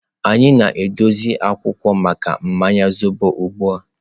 Anyị na-edozi akwụkwọ maka mmanya zobo ugbu a.